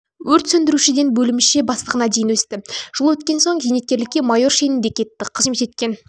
өрт сөндірушіден бөлімше бастығына дейін өсті жыл өткен соң зейнеткерлікке майор шенінде кетті қызмет еткен